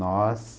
Nós...